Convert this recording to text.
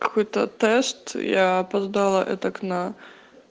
какой-то тест я опоздала этак на